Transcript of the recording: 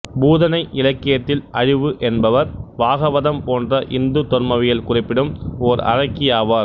பூதனை இலக்கியத்தில் அழிவு என்பவர் பாகவதம் போன்ற இந்து தொன்மவியல் குறிப்பிடும் ஓர் அரக்கி ஆவார்